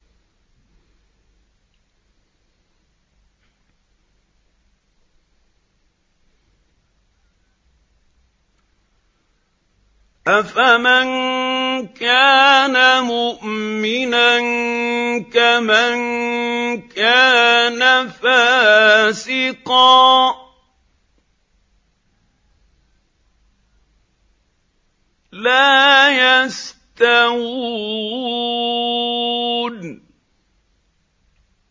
أَفَمَن كَانَ مُؤْمِنًا كَمَن كَانَ فَاسِقًا ۚ لَّا يَسْتَوُونَ